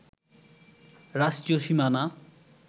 রাষ্ট্রীয় সীমানা